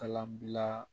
Kalanbila